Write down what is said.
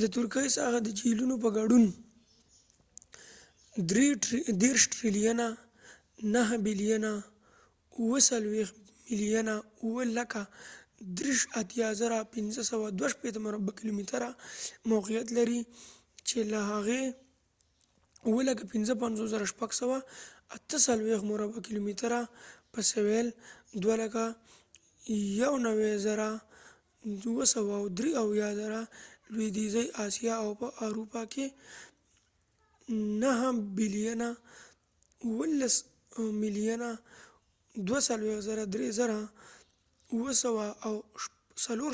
د ترکیې ساحه، د جهيلونو په ګډون، 783,562 مربع کیلومتره 300,948 sq mi موقعیت لري، چې له هغې څخه 755,688 مربع کیلومتره 291,773 sq mi په سویل لویدیځې آسیا او په اروپا کې، 23,764 مربع کیلومتره 9,174